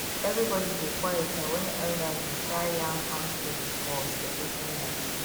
everybody go quiet um when elders dey um yarn farm story for celebration night